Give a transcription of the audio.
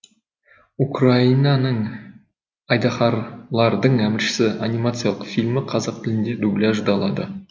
украинаның айдаһарлардың әміршісі анимациялық фильмі қазақ тіліне дубляждалады